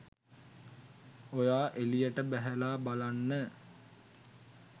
ඔයා එළියට බැහැලා බලන්න